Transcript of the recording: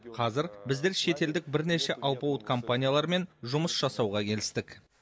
қазір біздер шетелдік бірнеше алпауыт компаниялармен жұмыс жасауға келістік